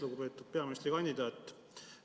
Lugupeetud peaministrikandidaat!